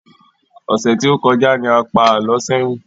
Ọsẹ tó kọjá ní a pá alọ sẹyin